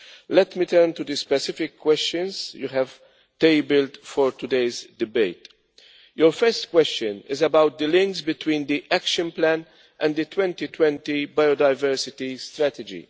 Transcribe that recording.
Let me turn to the specific questions you have tabled for today's debate. Your first question is about the links between the Action Plan and the 2020 Biodiversity Strategy.